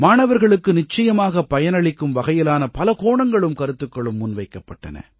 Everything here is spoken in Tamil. மாணவர்களுக்கு நிச்ச்யமாகப் பயனளிக்கும் வகையிலான பல கோணங்களும் கருத்துக்களும் முன்வைக்கப்பட்டன